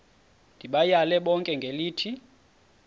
ndibayale bonke ngelithi